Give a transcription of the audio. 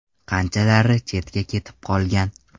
Qanchalari chetga ketib qolgan.